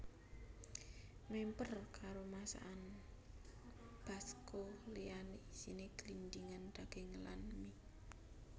Mèmper karo masakan basko liyané isiné glindhingan daging lan mie